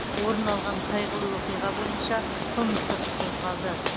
орын алған қайғылы оқиға бойынша қылмыстық іс қозғалды